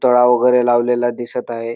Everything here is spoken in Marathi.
तळा वगैरे लावलेला दिसत आहे.